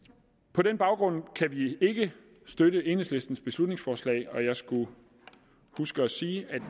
på den baggrund kan vi ikke støtte enhedslistens beslutningsforslag og jeg skulle huske at sige at